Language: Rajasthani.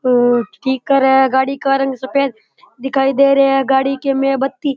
आ स्पीकर है गाड़ी का रंग सफ़ेद दिखाई दे रे है गाडी के में बत्ती --